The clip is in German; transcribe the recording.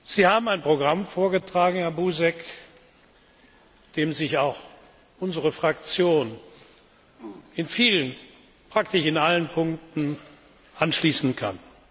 Sie haben ein Programm vorgetragen, Herr Buzek, dem sich auch unsere Fraktion in vielen praktisch in allen Punkten anschließen kann.